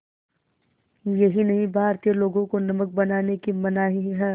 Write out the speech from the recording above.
यही नहीं भारतीय लोगों को नमक बनाने की मनाही है